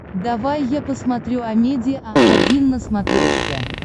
давай я посмотрю амедиа один на смотрешке